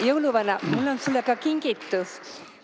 Jõuluvana, mul on sulle kingitus.